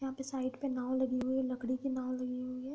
यहाँ पे साइड पे नाव लगी हुए है लकड़ी की नाव लगी हुई है।